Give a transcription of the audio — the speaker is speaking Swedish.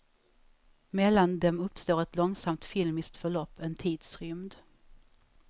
Mellan dem uppstår ett långsamt filmiskt förlopp, en tidsrymd.